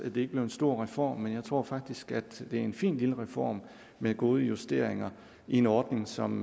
ikke blev en stor reform men jeg tror faktisk at det er en fin lille reform med gode justeringer i en ordning som